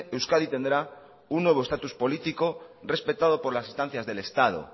euskadi tendrá un nuevo estatus político respetado por las instancias del estado